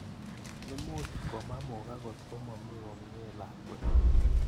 Imuch komemukak kotkomami komye lakwet.